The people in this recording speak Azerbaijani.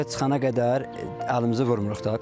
Kartoşka çıxana qədər əlimizi vurmuruq da.